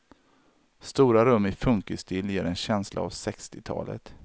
Stora rum i funkisstil ger en känsla av sextiotalet.